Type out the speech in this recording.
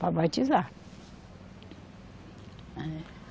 Para batizar. É